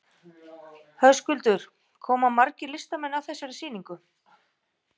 Höskuldur, koma margir listamenn að þessari sýningu?